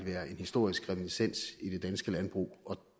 være en historisk reminiscens i det danske landbrug og